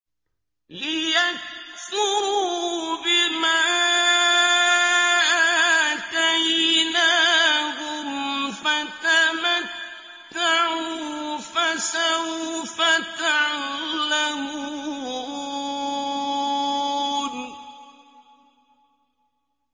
لِيَكْفُرُوا بِمَا آتَيْنَاهُمْ ۚ فَتَمَتَّعُوا فَسَوْفَ تَعْلَمُونَ